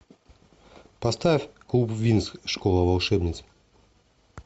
поставь клуб винкс школа волшебниц